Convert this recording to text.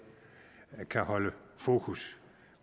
kan holde fokus